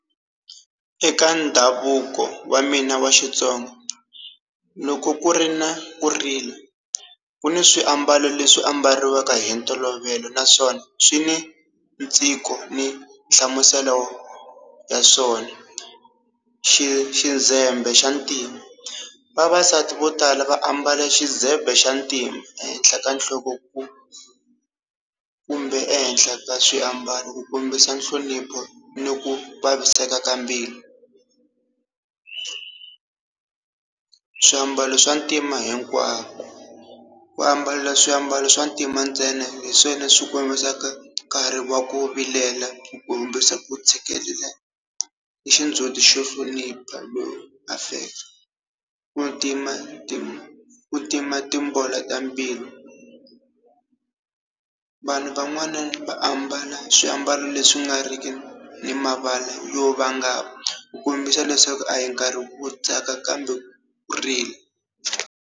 Eka ndhavuko wa mina wa Xitsonga, loko ku ri na ku rila ku ni swiambalo leswi ambariwa eka hi ntolovelo naswona swi ni tiko ni nhlamuselo ya swona. Xi xi Zembe xa ntima. Vavasati vo tala va ambala xizebe xa ntima ehenhla ka nhloko ku kumbe ehenhla ka swiambalo ku kombisa nhlonipho ni ku vaviseka ka mbilu swiambalo swa ntima hinkwako. Ku ambala swiambalo swa ntima ntsena hi swona leswi kumbisaka nkarhi wa ku vilela, ku kombisa ku tshikelela, ni xindzuti xo hlonipha low affect. Ku tima ta ku tima timbola ta mbilu. Vanhu van'wana va ambala swiambalo leswi nga ri ki ni mavala yo vangama ku kombisa leswaku a hi nkarhi wo tsaka kambe ku rila.